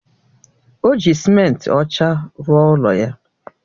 O ji simenti ọcha rụọ ụlọ ya